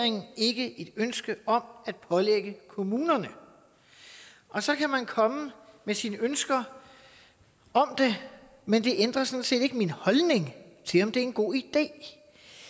ikke et ønske om at pålægge kommunerne så kan man komme med sine ønsker om det men det ændrer sådan set ikke min holdning til om det er en god idé det